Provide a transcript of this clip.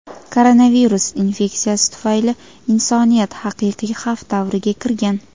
koronavirus infeksiyasi tufayli insoniyat "haqiqiy xavf davriga" kirgan.